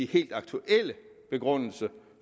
helt aktuelle begrundelse